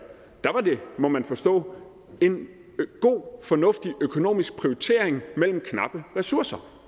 var det må man forstå en god og fornuftig økonomisk prioritering af knappe ressourcer